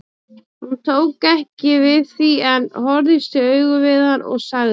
Hún tók ekki við því en horfðist í augu við hann og sagði